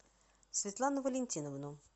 светлану валентиновну